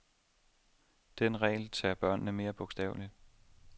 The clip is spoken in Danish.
Den regel tager børnene meget bogstaveligt.